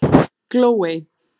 Glóey